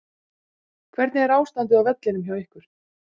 Hvernig er ástandið á vellinum hjá ykkur?